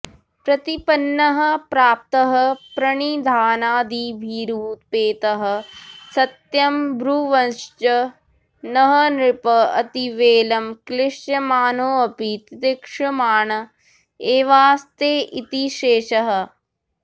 प्रतिपन्नः प्राप्तः प्रणिधानादिभिरुपेतः सत्यं ब्रुवंश्च नः नृपः अतिवेलं क्लिश्यमानोपि तितिक्षमाण एवास्ते इति शेषः